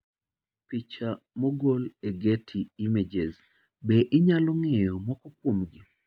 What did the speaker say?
icha mogol e Getty Images. Be inyalo ng'eyo moko kuomgi?